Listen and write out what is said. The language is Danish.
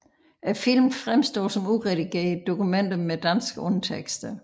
Filmene fremstår som uredigerede dokumenter med danske undertekster